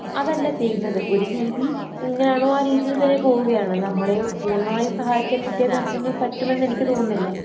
അതല്ല ചെയ്യുന്നത്. ഒരു രീതി എങ്ങനാണോ ആ രീതിയിൽ തന്നെ പോവുകയാണ്. നമ്മളെയൊ പൂർണ്ണമായി സഹായിക്കാൻ വിദ്യാഭ്യാസത്തിനു പറ്റുമെന്നെനിക്ക് തോന്നുന്നില്ല.